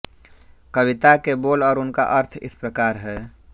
कविता के बोल और उनका अर्थ इस प्रकार हैं